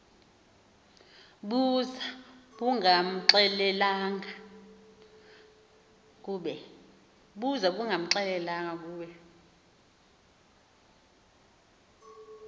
buza bungamxelelanga kube